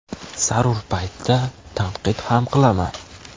Zarur paytda tanqid ham qilaman.